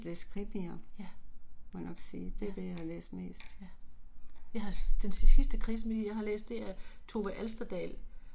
Ja. Ja. Ja. Jeg har den sidste krimi jeg har læst det er Tove Alsterdal